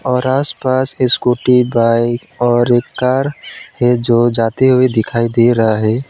और आसपास scooty bike और एक कार है जो जाती हुई दिखाई दे रहा है।